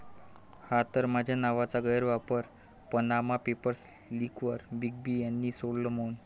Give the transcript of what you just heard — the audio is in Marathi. ...हा तर माझ्या नावाचा गैरवापर, पनामा पेपर्स लीकवर बिग बींनी सोडलं मौन